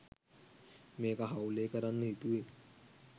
මේක හවුලේ කරන්න හිතුවේ